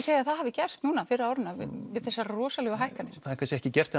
segja að það hafi gerst núna fyrr á árinu við þessar rosalegu hækkanir það er kannski ekki gert